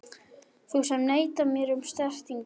Þú sem neitar mér um snertingu.